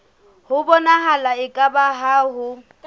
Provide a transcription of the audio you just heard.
ho bonahala eka ha ho